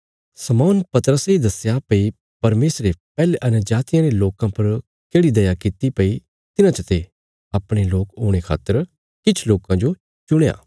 शमौन पतरसे दस्या भई परमेशरे पैहले अन्यजातियां रे लोकां पर केढ़ी दया कित्ती भई तिन्हां चते अपणे लोक होणे खातर किछ लोकां जो चुणया